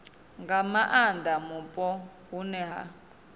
nga maanda mupo hune ha